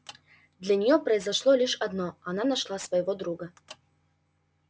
для неё произошло лишь одно она нашла своего друга